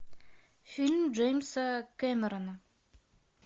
фильм джеймса кэмерона